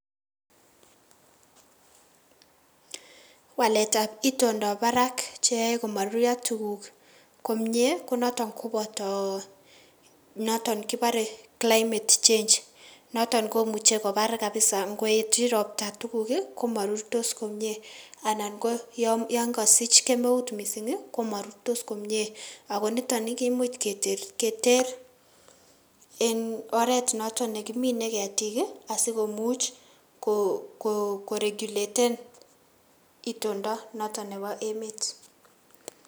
Waletab itondab barak cheyoe komoruryo tukuk komnyee konotok koboto noton koboree climate change, noton komuche kobar kabisaa, ngoetyi robtaa tukuk ii komorurtos komie anan ko yoon kosich kemeut mising komorurtos komnyee akoniton kimuch keteer en oreet noton nekimine ketik asikomuch korekyuleten itondo noton nebo emet.